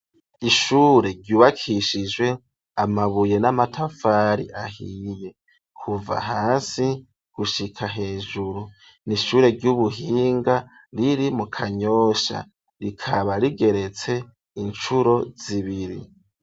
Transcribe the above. Ishure ryubakishijwe amabuye n'amatafari ahiye kuva hasi gushika hejuru n'ishure ry'ubuhinga riri mu kanyosha rikaba rigeretse incuro zibiri.